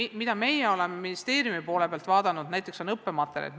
See, mida meie oleme ministeeriumis vaadanud, on näiteks õppematerjalid.